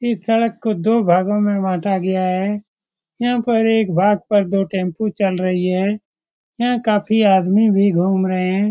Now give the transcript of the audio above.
इस सड़क को दो भागों में बाँटा गया है यहाँ पर एक भाग पर दो टेम्पो चल रही है यहाँ काफी आदमी भी घूम रहे हैं।